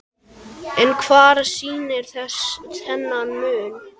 En hvað skýrir þennan mun?